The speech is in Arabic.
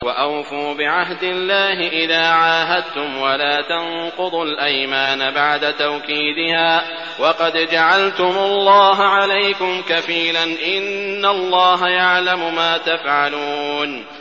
وَأَوْفُوا بِعَهْدِ اللَّهِ إِذَا عَاهَدتُّمْ وَلَا تَنقُضُوا الْأَيْمَانَ بَعْدَ تَوْكِيدِهَا وَقَدْ جَعَلْتُمُ اللَّهَ عَلَيْكُمْ كَفِيلًا ۚ إِنَّ اللَّهَ يَعْلَمُ مَا تَفْعَلُونَ